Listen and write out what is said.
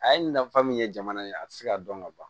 A ye nafa min ye jamana ye a ti se ka dɔn ka ban